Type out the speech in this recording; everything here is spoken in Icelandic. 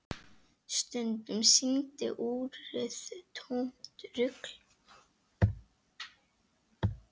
Stundum sýndi úrið tómt rugl.